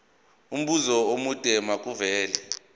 umbuzo omude makuvele